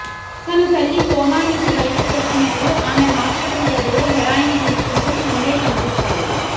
తన తల్లి కోమా నుంచి బయటకు వచ్చినపుడు ఆమె హాస్పిటల్ గదిలో హెరాయిన్ తీసుకుంటూ సంజయ్ కనిపిస్తాడు